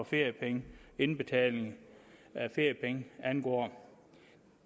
feriepenge og indbetaling af feriepenge angår